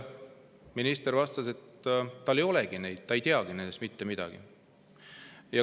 Minister vastas selle peale, et tal ei olegi neid, ta ei tea nendest mitte midagi.